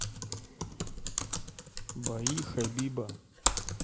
бои хабиба